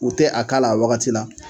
U tɛ a k'a la a wagati la